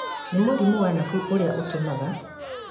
nĩ mũrimũ wa nabu ũrĩa ũtũmaga